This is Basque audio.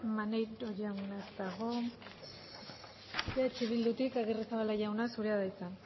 maneiro jauna ez dago eh bildutik agirrezabala jauna zurea da hitza